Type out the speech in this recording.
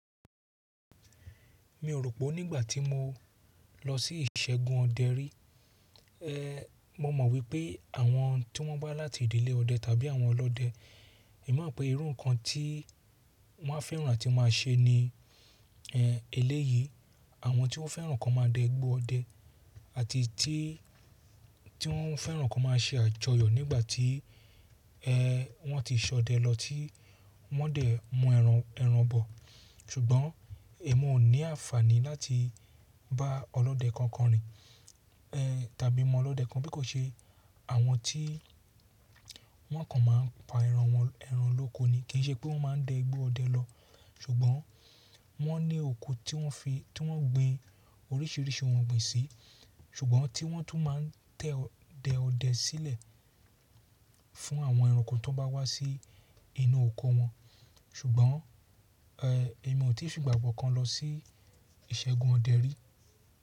Mi ò rò pé nígbà tí mo lọ sí ìṣègùn ọdẹ rí, eh mo mọ̀ wípé àwọn tí wọ́n bá láti ìdílé ọdẹ tàbí àwọn ọlọ́dẹ, èmi mọ̀ pé irú nǹkan tí wọ́n a fẹ́ràn láti máa ṣe ní ẹlẹ́yìí, àwọn tí wọ́n fẹ́ràn kan máa dẹ́ igbo ọdẹ àti tí tí wọ́n fẹ́ràn kan máa ṣe àjọyọ̀ nígbà tí ẹn wọ́n ti ṣọdẹ lọ tí wọ́n dẹ̀ mú ẹran ẹran bọ̀. Ṣùgbọ́n èmi ò ní àǹfààní láti bá ọlọ́dẹ kankan rìn ẹn tàbí mọn ọlọ́dẹ kan bí kò ṣe àwọn tí wọ́n kàn máa ń pa ẹran wọn ẹran lóko ni, kì í ṣe pé wọ́n máa ń dẹ́ ẹgbẹ́ ọdẹ lọ. Ṣùgbọ́n wọ́n ní oko tí wọ́n fi, tí wọ́n gbin oríṣìíríṣìí ohun ọ̀gbìn sí. Ṣùgbọ́n tí wọ́n tún máa tẹ́ dẹ ọdẹ sílẹ̀ fún àwọn ẹranko tó bá wá sí inú oko wọn. Ṣùgbọ́n eh èmi ò tíì fi ìgbà kankan lọ sí ìṣègùn ọdẹ rí.